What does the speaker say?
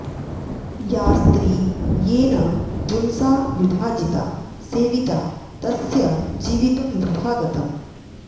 या स्त्री येन पुंसा विभाजिता सेविता तस्य जीवितं वृथा गतम्